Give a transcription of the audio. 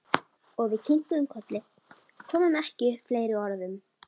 Og við kinkuðum kolli, komum ekki upp fleiri orðum.